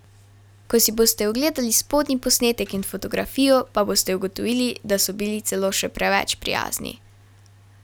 Ko si boste ogledali spodnji posnetek in fotografijo, pa boste ugotovili, da so bili celo še preveč prijazni.